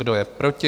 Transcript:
Kdo je proti?